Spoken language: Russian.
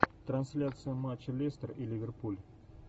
трансляция матча лестер и ливерпуль